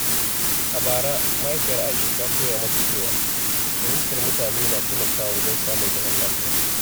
A bara, Mahaifiyar Aisha ta koya mata cewa fahimtar mutane na taimakawa wajen samun zaman lafiya.